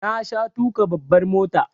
Na sha tuƙa babbar mota